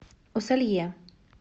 усолье